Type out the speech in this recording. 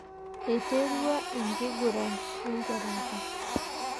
Eiterua enkiguran ekwatata.